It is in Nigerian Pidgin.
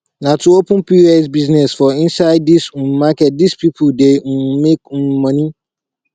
na to open pos business for inside this um market this people dey um make um money